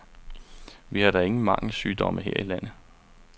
Vi har da ingen mangelsygdomme her i landet.